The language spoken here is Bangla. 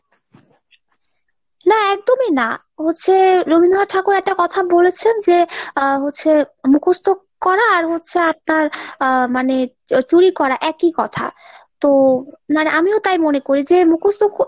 না একদমই না। হচ্ছে Rabindranath Thakur একটা কথা বলেছেন যে আ হচ্ছে মুখস্ত করা আর হচ্ছে আর তার আহ মানে হচ্ছে চুরি করা একই কথা । তো মানে আমিও তাই মনে করি যে মুখস্ত!